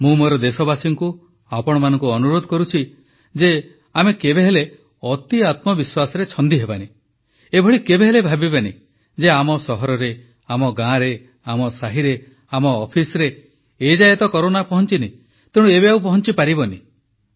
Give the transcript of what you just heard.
ମୁଁ ମୋର ଦେଶବାସୀଙ୍କୁ ଆପଣମାନଙ୍କୁ ଅନୁରୋଧ କରୁଛି ଯେ ଆମେ କେବେହେଲେ ଅତିଆତ୍ମବିଶ୍ୱାସରେ ଛନ୍ଦି ହେବାନି ଏଭଳି କେବେ ହେଲେ ଭାବିବାନି ଯେ ଆମ ସହରରେ ଆମ ଗାଁରେ ଆମ ସାହିରେ ଆମ ଅଫିସରେ ଏଯାଏ କରୋନା ପହଂଚିନି ତେଣୁ ଏବେ ଆଉ ପହଂଚି ପାରିବନି